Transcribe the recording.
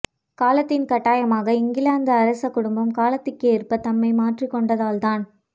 காலத்தின் கட்டாயமாக இங்கிலாந்து அரச குடும்பமும் காலத்திற்கேற்ப தம்மை மாற்றிக் கொண்டால்தான்